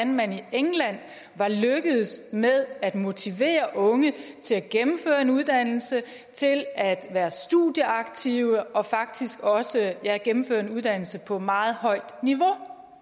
man i england var lykkedes med at motivere unge til at gennemføre en uddannelse til at være studieaktive og faktisk også gennemføre en uddannelse på meget højt niveau